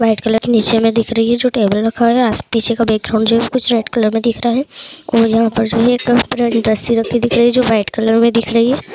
White की निचे मे दिख रही है जो टेबल रखा हुआ है और पिछे का बैकग्राउड जो है वो रेड कलर मे दिख रहा है और यहाँ पे एक मूर्ति रखी हुई है जो व्हाइट कलर मे दिख रही है।